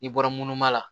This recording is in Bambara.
I bɔra munumunu ma la